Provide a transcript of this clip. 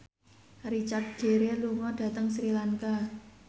Richard Gere lunga dhateng Sri Lanka